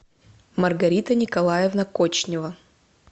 маргарита николаевна кочнева